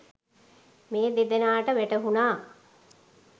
මේ දෙදෙනාට වැටහුනා.